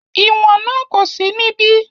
ìwọ̀n náà kò sí níbí